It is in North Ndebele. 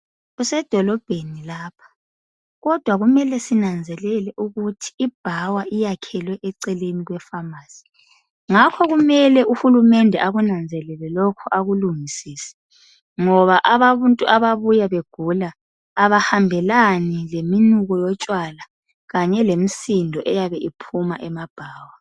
Kusedolobheni lapha, kodwa kumele sinanzelele ukuthi ibhawa iyakhelwe eceleni kwe"pharmacy" ngakho kumele uhulumende akunanzelele lokho akulungisise ngoba abantu ababuya begula abahambelani leminuko yotshwala kanye lemsindo eyabe iphuma emabhawa.